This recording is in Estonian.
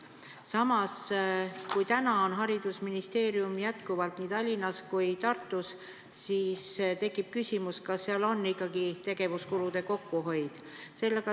Samas, kui täna on haridusministeerium jätkuvalt nii Tallinnas kui Tartus, siis tekib küsimus, kas seal on ikkagi tegevuskulude kokkuhoid.